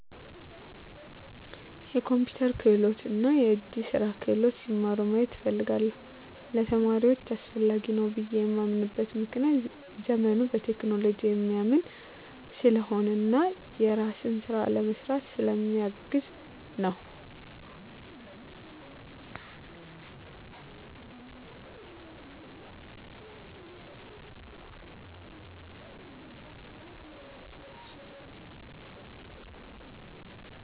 የኮምፒተር ክህሎት እና የእጅ ስራ ክህሎት ሲማሩ ማየት እፈልጋለሁ። ለተማሪዎች አስፈላጊ ነው ብየ የማምንበት ምክንያት ዘመኑ በቴክኖሎጂ የሚያምን ስለሆነ እና የራስን ስራ ለመስራት ስለ ሚያግዝ ነወ።